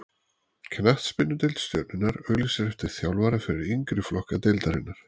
Knattspyrnudeild Stjörnunnar auglýsir eftir þjálfara fyrir yngri flokka deildarinnar.